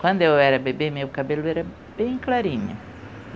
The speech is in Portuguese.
Quando eu era bebê, meu cabelo era bem clarinho.